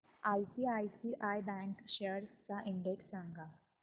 ICICI bank shares चा index सांगा